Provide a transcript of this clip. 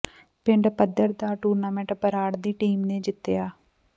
ਪਿੰਡ ਪੱਧਰ ਦਾ ਟੁੂਰਨਾਮੈਂਟ ਬਰਾੜ ਦੀ ਟੀਮ ਨੇ ਜਿੱਤਿਆ